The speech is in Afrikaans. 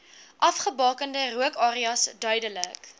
afgebakende rookareas duidelik